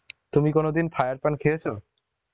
তুমি কোনো দিন fire পান খেয়েছ?